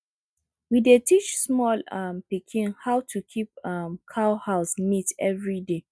we dey teach small um pikin how to keep um cow house neat every day